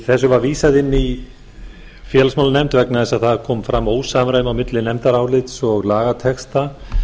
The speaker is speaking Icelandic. þessu var vísað inn félagsmálanefnd vegna þess að það kom fram ósamræmi á milli nefndarálits og lagatexta